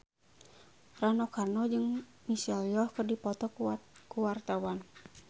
Rano Karno jeung Michelle Yeoh keur dipoto ku wartawan